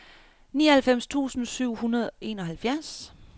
nioghalvfems tusind syv hundrede og enoghalvfjerds